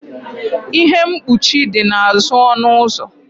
ihe mkpuchi dị n'azụ ọnụ ụzọ